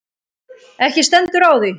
Ekki stendur á því.